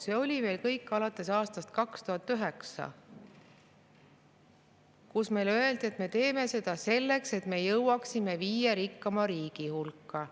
See oli alates aastast 2009, kui meile öeldi, et me teeme seda selleks, et me jõuaksime viie rikkaima riigi hulka.